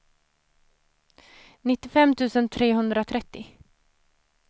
nittiofem tusen trehundratrettio